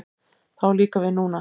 Það á líka við núna.